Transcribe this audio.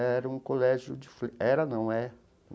Era um colégio de... Era, não, é.